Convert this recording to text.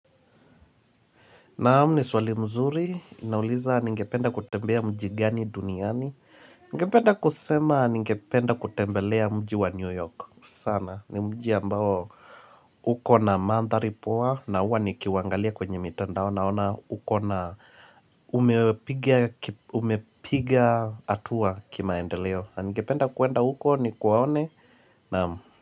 Naam ni swali mzuri, inauliza ningependa kutembea mji gani duniani Ningependa kusema ningependa kutembelea mji wa New York sana, ni mji ambao uko na mandhari poa na huwa nikiwangalia kwenye mitandao Naona uko na umepiga hatua kimaendeleo na ningependa kuenda huko nikuwaone, naam.